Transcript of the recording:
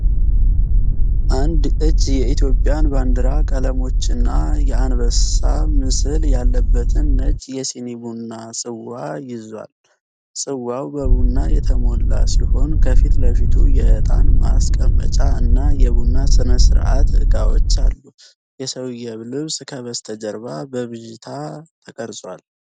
አንድ እጅ የኢትዮጵያን ባንዲራ ቀለሞችና የአንበሳ ምስል ያለበትን ነጭ የሲኒ ቡና ጽዋ ይዞአል። ጽዋው በቡና የተሞላ ሲሆን፣ ከፊት ለፊቱ የዕጣን ማስቀመጫ እና የቡና ሥነ ሥርዓት ዕቃዎች አሉ። የሰውዬው ልብስ ከበስተጀርባ በብዥታ ተቀርጿል።